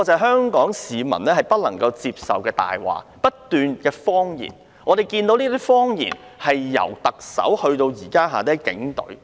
香港市民不能接受這些謊言，但類似謊言已由特首伸延至轄下的警隊。